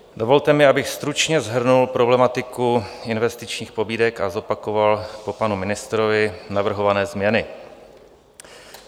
Dovolte mi, abych stručně shrnul problematiku investičních pobídek a zopakoval po panu ministrovi navrhované změny.